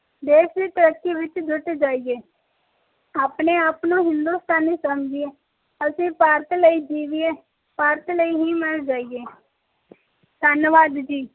ਦੇਸ਼ ਦੀ ਤਰੱਕੀ ਵਿਚ ਜੁੱਟ ਜਾਈਏ ਆਪਣੇ ਆਪ ਨੂੰ ਹਿੰਦੁਸਤਾਨੀ ਸਮਝੀਏ ਅਸੀਂ ਭਾਰਤ ਲਈ ਜੀਵੀਏ ਭਾਰਤ ਲਈ ਹੀ ਮਰ ਜਾਈਏ ਧਨਵਾਦ ਜੀ